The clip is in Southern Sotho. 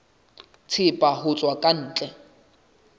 thepa ho tswa ka ntle